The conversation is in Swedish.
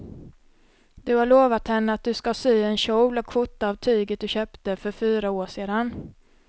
Du har lovat henne att du ska sy en kjol och skjorta av tyget du köpte för fyra år sedan.